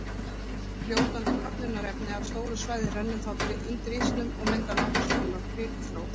Fljótandi köfnunarefni af stóru svæði rennur þá til undir ísnum og myndar nokkurs konar kvikuþró.